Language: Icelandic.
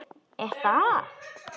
Er það?